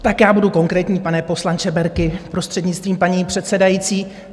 Tak já budu konkrétní, pane poslanče Berki, prostřednictvím paní předsedající.